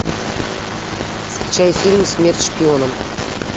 скачай фильм смерть шпионам